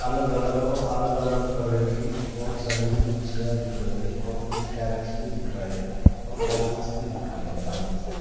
अलग अलग और अलग अलग तरह की बहुत सारी मच्छिया दिख रही है और कुछ कैरेट्स भी दिख रहा है और बॉक्सेस भी दिख रहे हैं थरमस के।